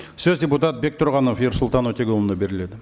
сөз депутат бектұрғанов ерсұлтан өтеғұлұлына беріледі